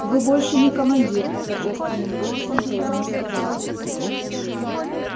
вы больше не командир торжественным голосом произнёс апорат